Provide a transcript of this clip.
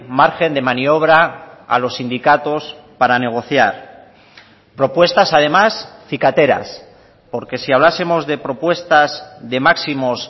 margen de maniobra a los sindicatos para negociar propuestas además cicateras porque si hablásemos de propuestas de máximos